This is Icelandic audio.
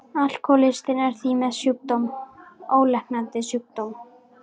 Alkohólistinn er því með ólæknandi sjúkdóm.